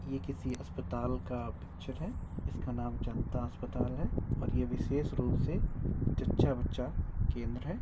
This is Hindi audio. ये किसी अस्पताल का पिक्चर है। इसका नाम जनता अस्पताल है और ये विशेष रूप से जच्चा बच्चा केंद्र है।